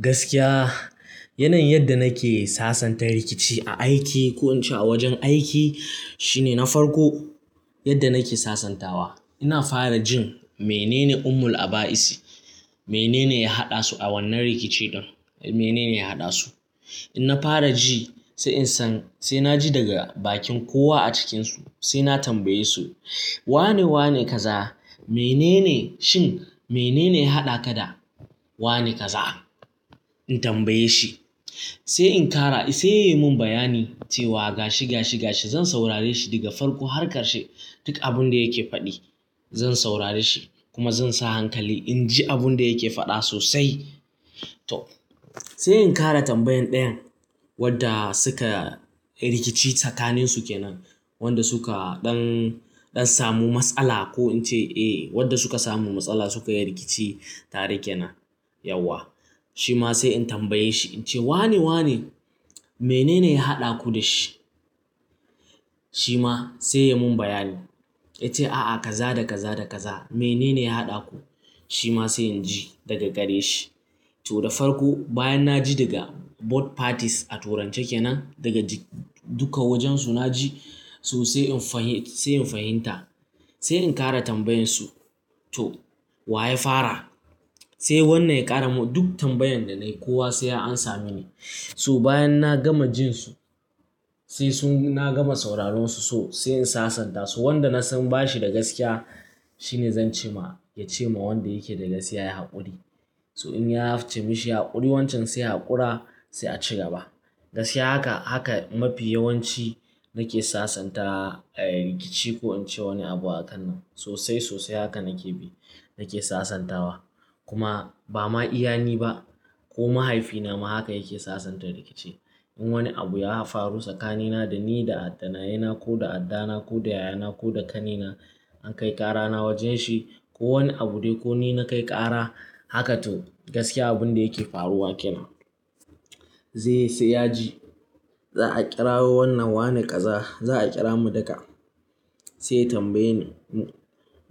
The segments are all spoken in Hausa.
Gaskiya, yanayin yadda nake sasanta rikici a aiki ko in ce a wajen aiki shine na farko yadda nake sasantawa ina fara jin menene ummul aba'isi, menene ya haɗa su a wannan rikice ɗin, menene ya haɗa su. In na fara ji sai in san sai na ji daga bakin kowa a cikinsu sai na tambaye su wane, wane kaza, menene shin menene ya haɗa ka da wane kaza? In tambaye shi sai in ƙara sai yayi mun bayani cewa ga shi, ga shi, ga shi zan saurare shi daga farko har ƙarshe duk abin da yake faɗi. Zan saurare shi kuma zan sa hankali in ji abin da yake faɗa sosai. To sai in ƙara tambayan ɗayan wadda suka yi rikici tsakanin su kenan wanda suka ɗan, ɗan samu matsala ko in ce eh wadda suka samu matsala suka yi rikici tare ke nan. Yauwa. Shi ma sai in tambaye shi in ce wane, wane menene ya haɗa ku da shi? Shi ma sai ya mun bayani ya ce a'a kaza da kaza da kaza menene ya haɗa ku. Shi ma sai in ji daga gare shi. To da farko bayan na ji daga both parties a turance ke nan daga ji duka wajen su na ji so sai in fahim, sai in fahimta. Sai in ƙara tambayan su to wa ya fara? Sai wannan ya ƙara mun duk tambayan da na yi kowa sai an sa mini. So bayan na gama jin su sai sun na gama sauraronsu so sai in sasanta su wanda na san bashi da gaskiya shine zan ce ma ya ce ma wanda yake da gaskiya ya yi haƙuri. So in ya hafte mishi haƙuri wancan sai haƙura sai a ci gaba. Gaskiya haka, haka mafi yawanci nake sasanta eh rikici ko in ce wani abu a kan nan. Sosai, sosai haka nake bi nake sasantawa. Kuma ba ma iyani ba ko mahaifi na ma haka yake sasanta rikici. In wani abu ya faru tsakanina da ni da ɗanai na ko da adda na ko da yaya na ko da ƙani na an kai ƙara na wajen shi ko wani abu dai ko ni na kai ƙara haka toh gaskiya abun da yake faruwa ke nan. Zai yi sai ya ji za a ƙirawa wannan wane kaza za a ƙira mu duka. Sai ya tambaye ni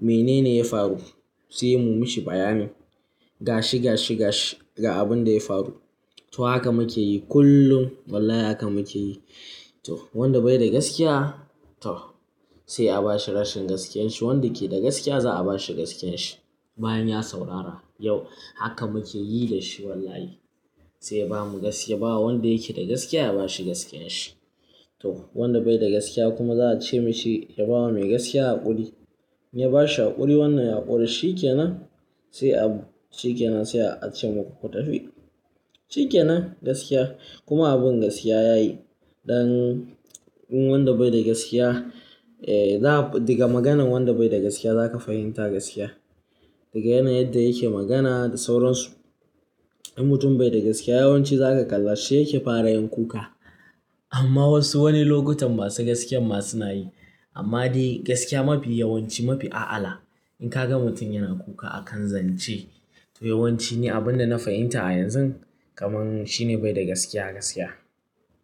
menene ya faru? Sai ya yi mun mishi bayani. Ga shi, ga shi, ga shi ga abin da ya faru. To haka muke yi kullum wallahi haka muke yi. To wanda bai da gaskiya to sai a bashi rashin gaskiyar shi. Wanda yake da gaskiya za'a bashi gaskiyar shi. Bayan ya saurara yau haka muke yi da shi wallahi. Sai ya bamu gaskiya bawa wanda yake da gaskiya ya bashi gaskiyar shi. To wanda bai da gaskiya kuma za a ce mashi ya bawa mai gaskiya haƙuri. In ya bashi haƙuri wannan haƙuri shi ke nan sai a shi ke nan sai a ce maku ku tafi. Shi kenan gaskiya kuma abin gaskiya ya yi. Ɗan in wanda bai da gaskiya eh za daga maganan wanda bai da gaskiya za ka fahimta gaskiya. Daga yanayin yadda yake magana da sauronsu. In mutum bai da gaskiya yawanci za ka kalla shi yake fara yin kuka. Amma wasu wani lokutan ba su gaskiyan ma suna yi. Amma dai gaskiya mafi yawanci mafi a'ala. In ka ga mutum yana kuka akan zance to yawanci ne abin da na fahimta a yanzun kamar shi ne bai da gaskiya gaskiya.